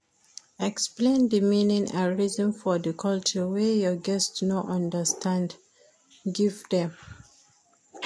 Explain di meaning and reason for di culture wey your guest no understand give dem